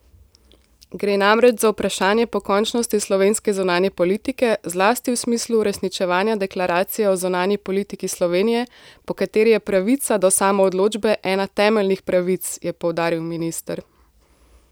Gre namreč za vprašanje pokončnosti slovenske zunanje politike, zlasti v smislu uresničevanja deklaracije o zunanji politiki Slovenije, po kateri je pravica do samoodločbe ena temeljnic pravic, je poudaril minister.